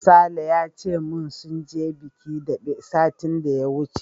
Sale ya ce min sun je bikin daɓe satin da ya wuce.